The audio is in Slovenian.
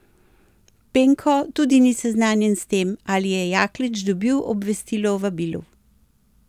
Penko tudi ni seznanjen s tem, ali je Jaklič dobil obvestilo o vabilu.